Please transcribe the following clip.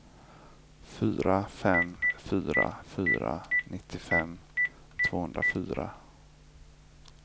fyra fem fyra fyra nittiofem tvåhundrafyra